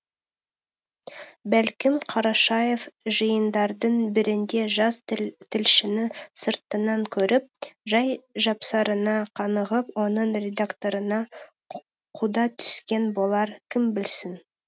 бәлкім қарашаев жиындардың бірінде жас тілшіні сыртынан көріп жай жапсарына қанығып оның редакторына құда түскен болар кім білсін